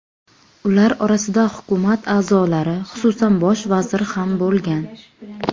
Ular orasida hukumat a’zolari, xususan bosh vazir ham bo‘lgan.